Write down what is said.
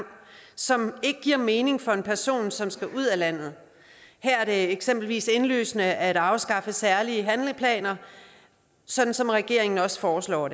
som ikke giver mening for en person som skal ud af landet her er det eksempelvis indlysende at afskaffe særlige handleplaner sådan som regeringen også foreslår